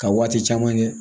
Ka waati caman kɛ